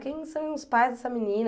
Quem são os pais dessa menina?